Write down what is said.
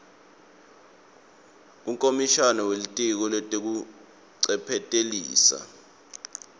kukomishana welitiko letekuncephetelisa